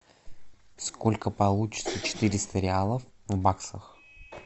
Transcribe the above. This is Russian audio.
сколько получится четыреста реалов в баксах